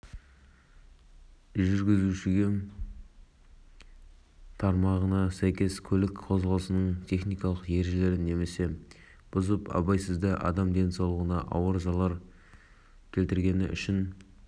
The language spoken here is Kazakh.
астанада екі баланы соққан жүргізушісі азамат хасенов жазасын бір жыл колонияда өтейді деп хабарлайды тілшісі қалалық